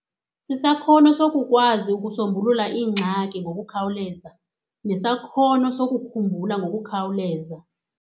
Sisakhono sokukwazi ukusombulula iingxaki ngokukhawuleza nesakhono sokukhumbula ngokukhawuleza.